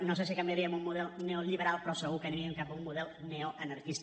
no sé si canviaríem un model neoliberal però segur que aniríem cap a un model neoanarquista